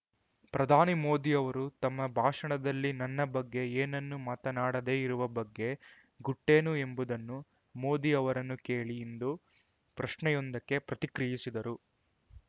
ಪ್ರಧಾನಿ ಮೋದಿ ಅವರು ತಮ್ಮ ಭಾಷಣದಲ್ಲಿ ನನ್ನ ಬಗ್ಗೆ ಏನ್ನನ್ನು ಮಾತನಾಡದೇ ಇರುವ ಬಗ್ಗೆ ಗುಟ್ಟೇನು ಎಂಬುದನ್ನು ಮೋದಿ ಅವರನ್ನು ಕೇಳಿ ಎಂದು ಪ್ರಶ್ನೆಯೊಂದಕ್ಕೆ ಪ್ರತಿಕ್ರಿಯಿಸಿದರು